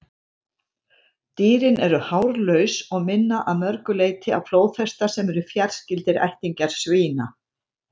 Dýrin eru hárlaus og minna að mörgu leyti á flóðhesta, sem eru fjarskyldir ættingjar svína.